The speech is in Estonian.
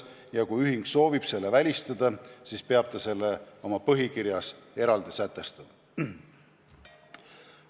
Ja kui ühing soovib selle välistada, siis peab ta selle oma põhikirjas eraldi sätestama.